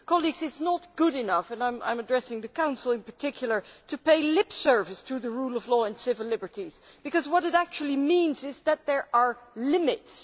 Colleagues, it is not good enough and I am addressing the Council in particular to pay lip service to the rule of law in civil liberties, because what it actually means is that there are limits.